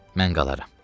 Mən qalaram.